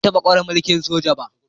Ban taba kware mulki'n soja ba.